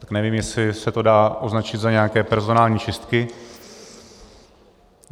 Tak nevím, jestli se to dá označit za nějaké personální čistky.